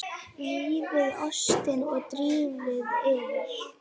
Rífið ostinn og dreifið yfir.